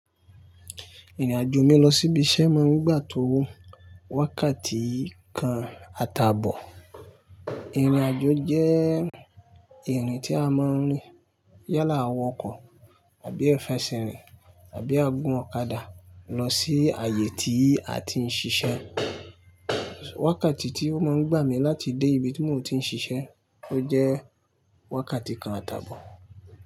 Ìrìnàjò mi lọ síbi iṣẹ́ má ń gbà tó wó wákàtí kan àtàbọ̀. Ìrìnàjò jẹ́ ìrìn tí a máa ń rìn yálà a wokọ ààbi a fẹsẹ̀ rín àbí a gún ọ̀kadà lọ sí ààyè tí a ti ń ṣiṣẹ́. Wákàtí tí ó máa ń gbà mí láti dé ibi tí mò ń ti ń ṣiṣẹ́, ó jẹ́ wákàtí kan àtàbọ̀.